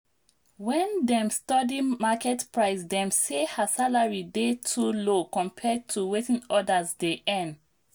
when dem study market price dem say her salary dey too low compared to wetin others dey earn.